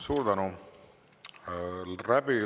Suur tänu!